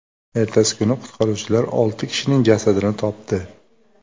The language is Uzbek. Ertasi kuni qutqaruvchilar olti kishining jasadini topdi.